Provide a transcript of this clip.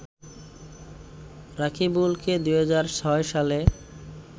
রাকিবুলকে ২০০৬ সালে